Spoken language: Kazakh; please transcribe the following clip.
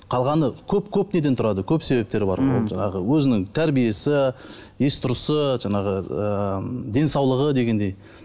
қалғаны көп көп неден тұрады көп себептері бар оның жаңағы өзінің тәрбиесі есі дұрысы жаңағы ы денсаулығы дегендей